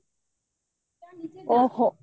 ଓଃହୋ